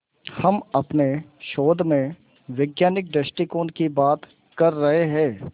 हम अपने शोध में वैज्ञानिक दृष्टिकोण की बात कर रहे हैं